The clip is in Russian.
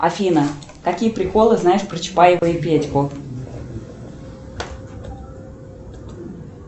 афина какие приколы знаешь про чапаева и петьку